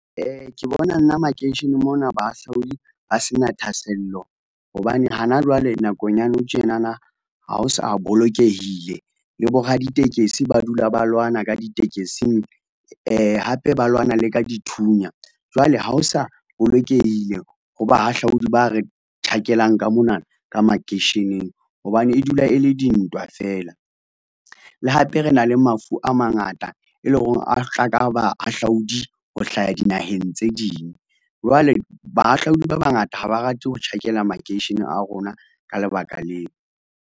Ke bona nna makeisheneng mona bahahlaudi ba se na thahasello hobane hana jwale nakong ya nou tjenana. Ha ho sa bolokehile le bo raditekesi ba dula ba lwana ka ditekesing hape ba lwana le ka dithunya. Jwale ha o sa bolokehile ho bahahlaodi ba re tjhakelang ka mona ka makeisheneng hobane e dula e le dintwa fela. Le hape re na le mafu a mangata, e lo reng a tla ka bahahlaudi ho hlaha dinaheng tse ding jwale bahahlaodi ba bangata ha ba rate ho tjhakela makeisheneng a rona ka lebaka leo.